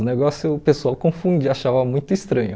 O negócio o pessoal confundia, achava muito estranho.